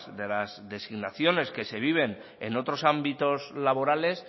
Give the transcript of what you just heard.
de las designaciones que se viven en otros ámbitos laborales